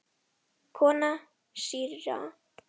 Kona síra Gísla kom út.